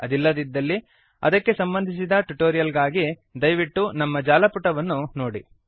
ಅದಿಲ್ಲವಾದರೆ ಅದಕ್ಕೆ ಸಂಬಂಧಿಸಿದ ಟುಟೋರಿಯಲ್ ಗಳಿಗಾಗಿ ದಯವಿಟ್ಟು ನಮ್ಮ ಜಾಲಪುಟವನ್ನು httpspoken tutorialorg ನೋಡಿ